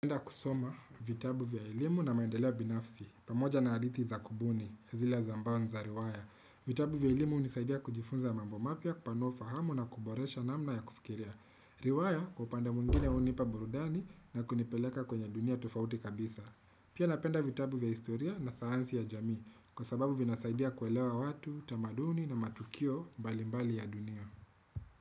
Napenda kusoma vitabu vya elimu na maendeleo ya binafsi, pamoja na adithi za kubuni, zile za ambao ni za riwaya. Vitabu vya elimu unisaidia kujifunza mambo mapya kupanua ufahamu na kuboresha namna ya kufikiria. Riwaya kwa upande mwingine hunipa burudani na kunipeleka kwenye dunia tofauti kabisa. Pia napenda vitabu vya historia na sayansi ya jamii, kwa sababu vinasaidia kuelewa watu, tamaduni na matukio mbalimbali ya dunia.